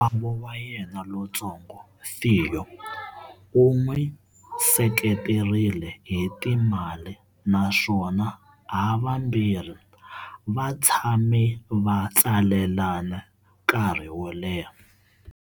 Makwavo wa yena lontsongo, Theo, u n'wi seketerile hi timali, naswona havambirhi va tshame va tsalelana nkarhi wo leha.